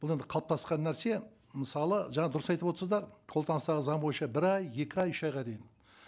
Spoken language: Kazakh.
бұл енді қалыптасқан нәрсе мысалы жаңа дұрыс айтып отырсыздар колданыстағы заң бойынша бір ай екі ай үш айға дейін